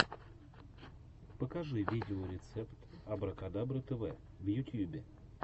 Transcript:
покажи видеорецепт абракадабры тв в ютьюбе